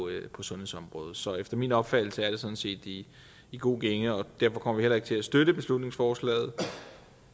sundhedsområdet så efter min opfattelse er det sådan set i i god gænge og derfor kommer vi heller ikke til at støtte beslutningsforslaget